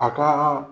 A ka